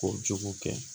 Kojugu kɛ